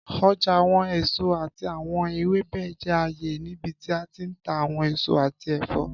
Ọja awọn eso ati awọn ewebẹ jẹ aaye nibiti a ti n ta awọn eso ati ẹfọ.